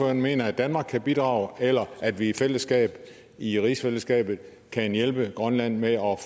han mener at danmark kan bidrage eller at vi i fællesskab i rigsfællesskabet kan hjælpe grønland med at